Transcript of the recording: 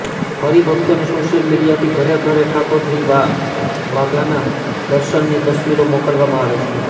હરિભક્તોને social મીડિયાથી ઘરે ઘરે ઠાકોરજીના વાઘાના દર્શનની તસ્વીરો મોકલવામાં આવે છે